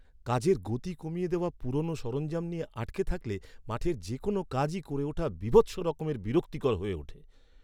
কাজের গতি কমিয়ে দেওয়া পুরনো সরঞ্জাম নিয়ে আটকে থাকলে মাঠের যে কোনও কাজই করে ওঠা বীভৎস রকমের বিরক্তিকর হয়ে ওঠে।